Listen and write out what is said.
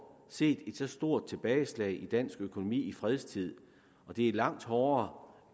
set et så stort tilbageslag i dansk økonomi i fredstid og det er langt hårdere